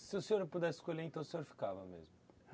Se o senhor não pudesse escolher, então o senhor ficava mesmo?